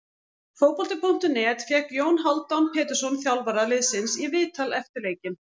Fótbolti.net fékk Jón Hálfdán Pétursson þjálfara liðsins í viðtal eftir leikinn.